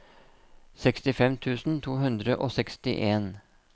sekstifem tusen to hundre og sekstien